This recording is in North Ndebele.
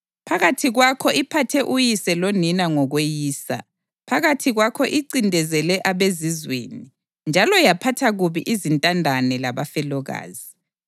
Phakathi kwakho iphathe uyise lonina ngokweyisa; phakathi kwakho incindezele abezizweni, njalo yaphatha kubi izintandane labafelokazi.